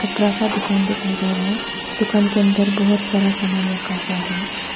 कपड़ा का दुकान दिखाई दे रहे हैं दुकान के अंदर बहुत सारा सामान रखा हुआ है।